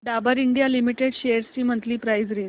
Dabur India limited shares ची monthly price range